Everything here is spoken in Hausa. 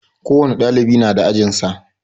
Ko wani dalibi na da ajin sa.